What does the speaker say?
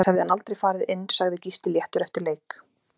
Annars hefði hann aldrei farið inn Sagði Gísli léttur eftir leik